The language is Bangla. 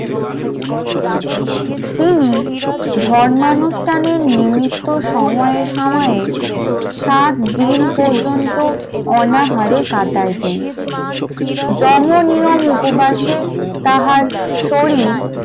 তিনি ধর্মানুষ্ঠানের নিমিত্ত সময় সময় সাত দিন পর্যন্ত অনাহারে কাটাইতেন । যেমন নিয়ম উপবাসে তাহার শরীর